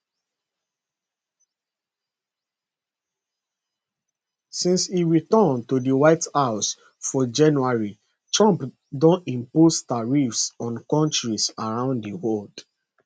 since e return to di white house for january trump don impose tariffs on kontris around di world